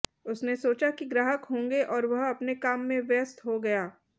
उसने सोचा कि ग्राहक होंगे और वह अपने काम में व्यस्त हो गया